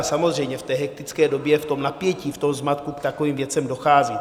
A samozřejmě v té hektické době, v tom napětí, v tom zmatku k takovým věcem dochází.